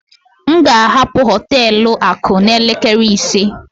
M ga-ahapụ họtelu akụ a n'elekere ise